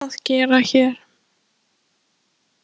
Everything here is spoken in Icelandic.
Hvað var hann að gera hér?